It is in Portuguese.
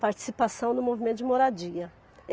Participação no movimento de moradia.